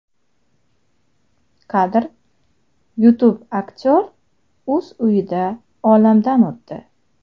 Kadr: YouTube Aktyor o‘z uyida olamdan o‘tdi.